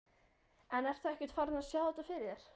En ertu ekkert farinn að sjá þetta fyrir þér?